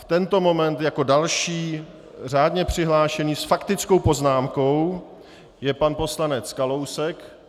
V tento moment jako další řádně přihlášený s faktickou poznámkou je pan poslanec Kalousek.